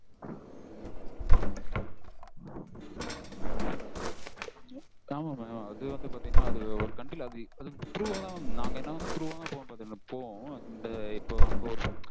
உம் ஆமா mam அது வந்து பாத்தீங்கனா அது ஒரு country ல அது through வா தான் mam through வா போகும் பாத்துகிடுங்க போகும் இந்த இப்பொ